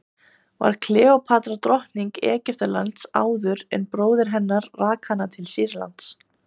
var kleópatra drottning egyptalands áður en bróðir hennar rak hana til sýrlands